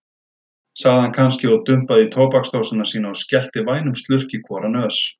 sagði hann kannski og dumpaði í tóbaksdósina sína og skellti vænum slurk í hvora nös.